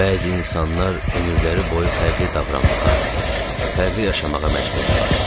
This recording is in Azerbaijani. Bəzi insanlar ömürləri boyu fərqli davranmağa, fərqli yaşamağa məcburdular.